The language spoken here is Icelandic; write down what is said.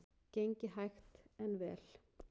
Gengið hægt en vel